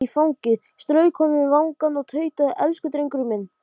Vera með hugann heima hjá drengnum.